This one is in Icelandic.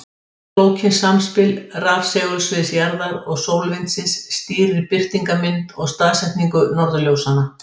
Flókið samspil rafsegulsviðs jarðar og sólvindsins stýrir birtingarmynd og staðsetningu norðurljósanna.